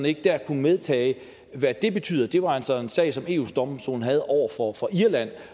ikke medtage hvad det betyder det var altså en sag som eu domstolen havde over for irland